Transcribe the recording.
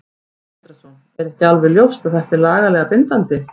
Sindri Sindrason: Er ekki alveg ljóst að þetta er lagalega bindandi?